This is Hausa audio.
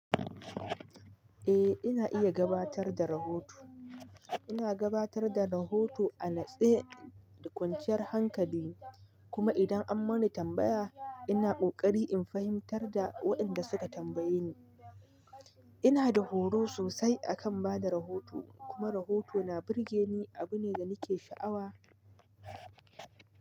Eh ina iya gabatar da rahoto. Ina gabatar da rahoto a natsaye da kwanciyar hankali, kuma idan an mani tambaya ina ƙoƙari in fahimtar da waɗanda suka tambaye ni. Ina da horo sosai a kan ba da rahoto. Kuma rahoto na burge ni, abu ne da nake sha'awa.